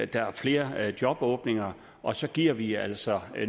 der er flere jobåbninger og så giver vi altså